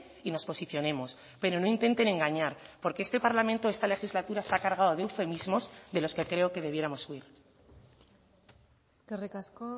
y nos posicionemos pero no intenten engañar porque este parlamento esta legislatura se ha cargado de eufemismos de los que creo que debiéramos huir eskerrik asko